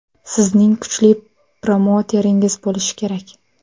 Sizning kuchli promouteringiz bo‘lishi kerak.